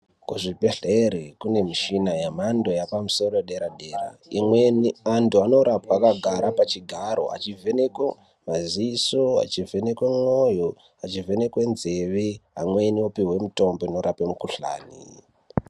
Kuzvibhedhleri kune mishina yemhando yepamusoro edera dera imweni antu anorapwa akagara pachigaro achivhenekwe maziso achivhenekwe mwoyo achivhenekwe nzeve amweni opihwe mitombo inkrape mikhuhlani.